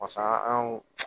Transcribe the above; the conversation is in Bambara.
Pasa anw